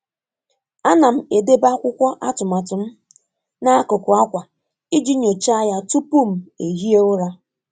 A na m edebe akwụkwọ atụmatụ m n'akụkụ akwa iji nyochaa ya tupu m ehie ụra.